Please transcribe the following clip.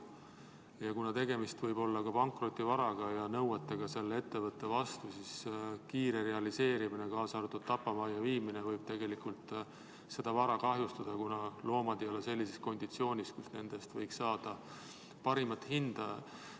Kuna tegemist võib olla pankrotivaraga ja nõuetega selle ettevõtte vastu, siis loomade kiire realiseerimine, kaasa arvatud tapamajja viimine, võib seda vara kahjustada, kuna loomad ei ole sellises konditsioonis, kus nende eest võiks saada parimat hinda.